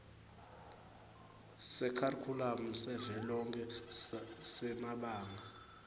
sekharikhulamu savelonkhe semabanga